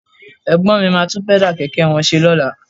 Ẹ̀gbọ́n mi máa tún Pẹ́dà kẹ̀kẹ́ wọn ṣe lọ́la